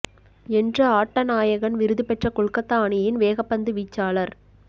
என்று ஆட்ட நாயகன் விருது பெற்ற கொல்கத்தா அணியின் வேகப்பந்து வீச்சாளர்